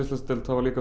hafa